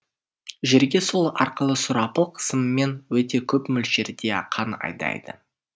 жүрегі сол арқылы сұрапыл қысыммен өте көп мөлшерде қан айдайды